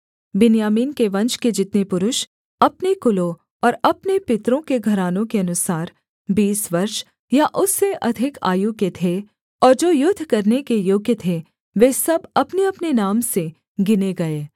बिन्यामीन के वंश के जितने पुरुष अपने कुलों और अपने पितरों के घरानों के अनुसार बीस वर्ष या उससे अधिक आयु के थे और जो युद्ध करने के योग्य थे वे सब अपनेअपने नाम से गिने गए